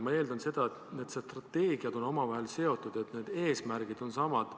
Ma eeldan, et need strateegiad on omavahel seotud, et eesmärgid on samad.